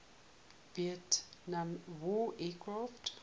vietnam war aircraft